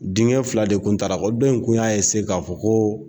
Denkɛ fila de tun taala, dɔ in kun y'a k'a fɔ ko